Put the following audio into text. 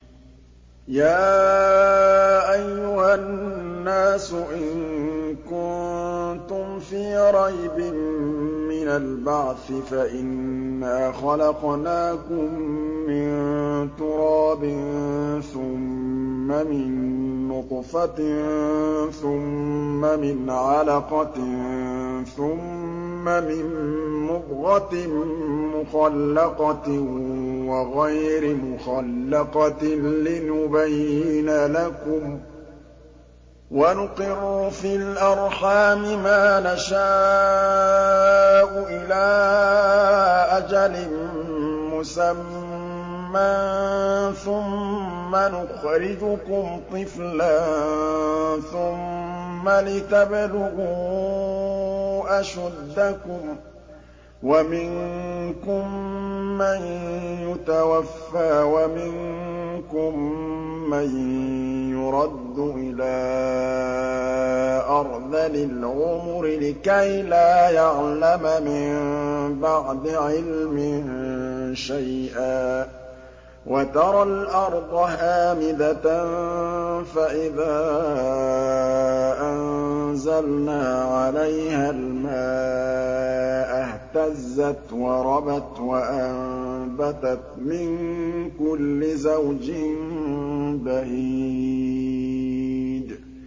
يَا أَيُّهَا النَّاسُ إِن كُنتُمْ فِي رَيْبٍ مِّنَ الْبَعْثِ فَإِنَّا خَلَقْنَاكُم مِّن تُرَابٍ ثُمَّ مِن نُّطْفَةٍ ثُمَّ مِنْ عَلَقَةٍ ثُمَّ مِن مُّضْغَةٍ مُّخَلَّقَةٍ وَغَيْرِ مُخَلَّقَةٍ لِّنُبَيِّنَ لَكُمْ ۚ وَنُقِرُّ فِي الْأَرْحَامِ مَا نَشَاءُ إِلَىٰ أَجَلٍ مُّسَمًّى ثُمَّ نُخْرِجُكُمْ طِفْلًا ثُمَّ لِتَبْلُغُوا أَشُدَّكُمْ ۖ وَمِنكُم مَّن يُتَوَفَّىٰ وَمِنكُم مَّن يُرَدُّ إِلَىٰ أَرْذَلِ الْعُمُرِ لِكَيْلَا يَعْلَمَ مِن بَعْدِ عِلْمٍ شَيْئًا ۚ وَتَرَى الْأَرْضَ هَامِدَةً فَإِذَا أَنزَلْنَا عَلَيْهَا الْمَاءَ اهْتَزَّتْ وَرَبَتْ وَأَنبَتَتْ مِن كُلِّ زَوْجٍ بَهِيجٍ